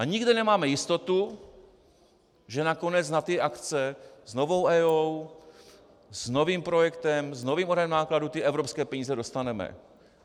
A nikde nemáme jistotu, že nakonec na ty akce s novou EIA, s novým projektem, s novým odhadem nákladů ty evropské peníze dostaneme.